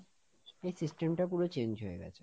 এই system টা পুরো change হয়ে গেছে।